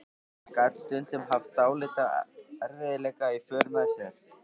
En gat stundum haft dálitla erfiðleika í för með sér.